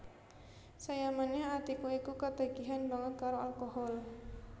Saya manèh Atika iku ketagihan banget karo alkohol